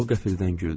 O qəfildən güldü.